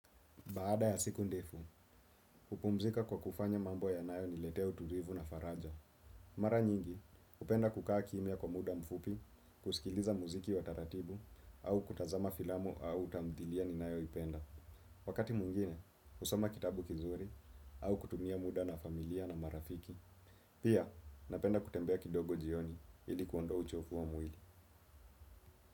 Baada ya siku ndefu, hupumzika kwa kufanya mambo yanayoniletea utulivu na faraja. Mara nyingi, hupenda kukaa kimya kwa muda mfupi, kusikiliza muziki wa taratibu, au kutazama filamo au tamthilia ninayoipenda. Wakati mwingine, husoma kitabu kizuri, au kutumia muda na familia na marafiki. Pia, napenda kutembea kidogo jioni ili kuondoa uchovu wa mwili.